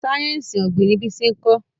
sáyẹnsì ogbin ní Bisi nkọ